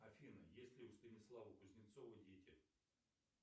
афина есть ли у станислава кузнецова дети